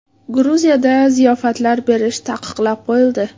Gruziyada ziyofatlar berish taqiqlab qo‘yildi.